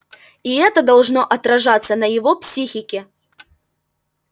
и это должно отражаться на его психике